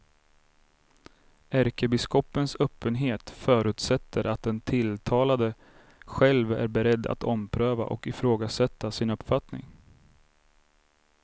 Ärkebiskopens öppenhet förutsätter att den tilltalade själv är beredd att ompröva och ifrågasätta sin uppfattning.